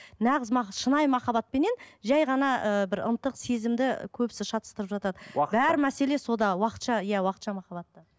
нағыз шынайы махаббатпенен жай ғана ыыы бір ынтық сезімді көбісі шатыстырып жатады бар мәселе сода уақытша иә уақытша махаббатта